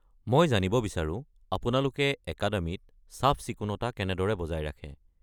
মই জানিব বিচাৰো আপোনালোকে একাডেমিত চাফ-চিকুণতা কেনেদৰে বজাই ৰাখে?